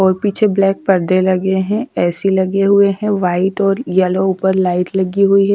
और पीछे ब्लैक पर्दे लगे हैं ऐ_सी लगे हुए हैं वाइट और येलो ऊपर लाइट लगी हुई है।